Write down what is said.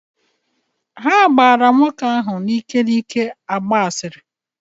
Ha gbaara nwoke ahụ n’ike n’ike gbaa asịrị